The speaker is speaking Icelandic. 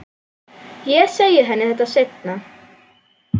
Ég segi henni þetta seinna.